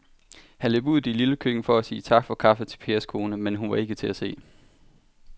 Han løb ud i det lille køkken for at sige tak for kaffe til Pers kone, men hun var ikke til at se.